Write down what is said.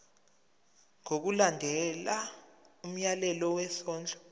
ngokulandela umyalelo wesondlo